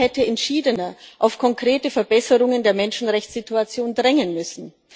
Die EU hätte entschiedener auf konkrete Verbesserungen der Menschenrechtssituation drängen müssen.